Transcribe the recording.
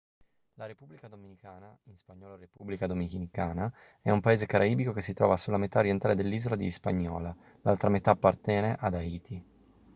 la repubblica dominicana in spagnolo república dominicana è un paese caraibico che si trova sulla metà orientale dell'isola di hispaniola; l'altra metà appartiene ad haiti